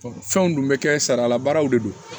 fɛnw dun bɛ kɛ sariya la baaraw de don